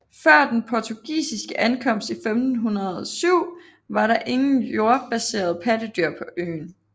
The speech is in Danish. Før den portugisiske ankomst i 1507 var der ingen jordbaserede pattedyr på øen